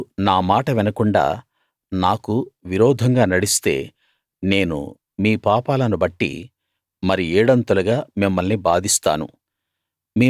మీరు నా మాట వినకుండా నాకు విరోధంగా నడిస్తే నేను మీ పాపాలను బట్టి మరి ఏడంతలుగా మిమ్మల్ని బాధిస్తాను